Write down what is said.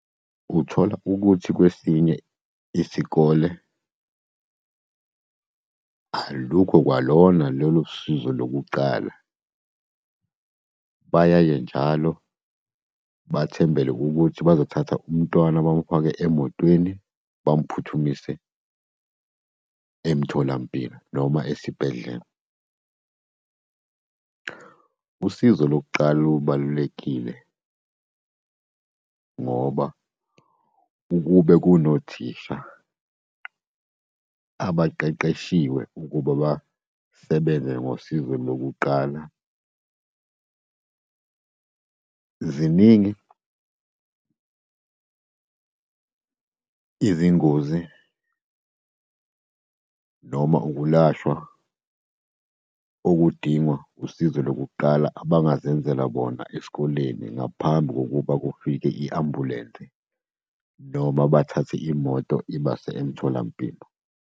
Uthola ukuthi kwesinye isikole alukho kwalona lolo sizo lokuqala. Bayaye njalo bathembele ukuthi bazothatha umntwana bamufake emotweni bamphuthumise emtholampilo noma esibhedlela. Usizo lokuqala lubalulekile, ngoba ukube kunothisha abaqeqeshiwe ukuba basebenze ngosizo lokuqala, ziningi izingozi noma ukulashwa okudingwa usizo lokuqala abangazenzela bona esikoleni ngaphambi kokuba kufike i-ambulensi, noma bathathe imoto ibase emtholampilo.